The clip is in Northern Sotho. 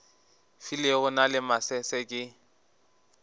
filego na le masese ke